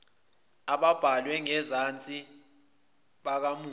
ababhalwe ngenzansi bakamufi